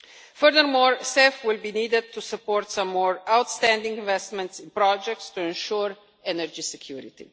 Furthermore, CEF will be needed to support some more outstanding investments in projects to ensure energy security.